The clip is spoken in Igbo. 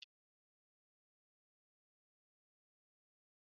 Erila Makaroni na kichin!